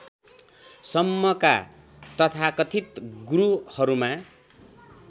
सम्मका तथाकथित गुरुहरूमा